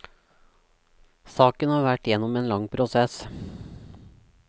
Saken har vært gjennom en lang prosess.